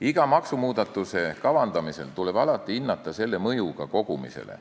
Iga maksumuudatuse kavandamisel tuleb alati hinnata selle mõju maksukogumisele.